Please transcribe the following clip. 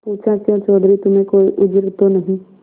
पूछाक्यों चौधरी तुम्हें कोई उज्र तो नहीं